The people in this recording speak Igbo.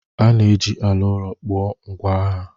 A na-eji ala ụrọ kpụọ ngwa agha.